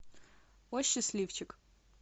о счастливчик